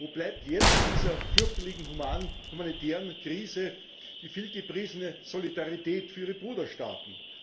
Wo bleibt jetzt in dieser fürchterlichen humanitären Krise die vielgepriesene Solidarität für ihre Bruderstaaten?